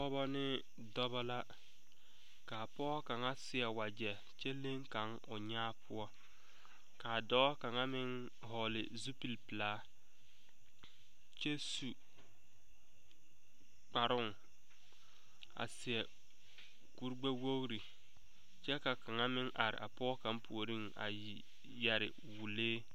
Pɔgebɔ me dɔbɔ la kaa pɔge kaŋa seɛ wagyɛ kyɛ leŋ kaŋ o nyaa poɔ kaa dɔɔ kaŋa meŋ vɔgle zupile pilaa kyɛ su kparoŋ a seɛ kuri gbɛwogre kyɛ ka kaŋa meŋ are a pɔge kaŋa puoriŋ a yɛre wɔlee.